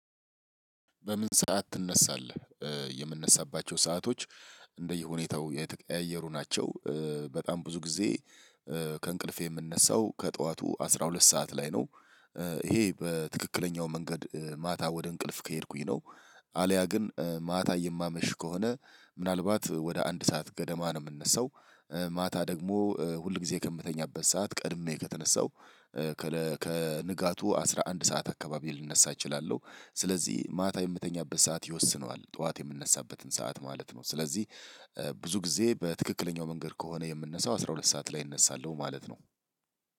በምን ሰዓት ትነሳለህ? የምነሳባቸው ሰአቶች እንደየሁኔታው የተቀያየሩ ናቸው። በጣም ብዙ ጊዜ ከእንቅልፌ የምነሳው ከጠዋቱ አስራ ሁለት ሰዓት ላይ ነው። ይሄ በትክክለኛው መንገድ ማታ ወደ እንቅልፍ ከሄድኩኝ ነው። አልያ ግን ማታ የማመሽ ከሆነ ምናልባት ወደ አንድ ሰዓት ገደማ ነው የምንነሳው። ማታ ደግሞ ሁል ጊዜ ከምተኛበት ሰዓት ቀድሜ ከተነሳው ከንጋቱ አስራ አንድ ሰዓት አካባቢ ልነሳ እችላለሁ። ስለዚህ ማታ የምተኛበት ሰዓት ይወስነዋል ጠዋት የምነሳበትን ሰዓት ማለት ነው። ስለዚህ ብዙ ጊዜ በትክክለኛው መንገድ ከሆነ የምንነሳው አስራ ሁለት ሰዓት ላይ እነሳለሁ ማለት ነው።